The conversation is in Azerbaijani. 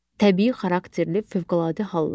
Təbii xarakterli fövqəladə hallar.